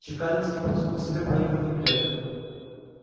чекалинский потянул к себе проигранные билеты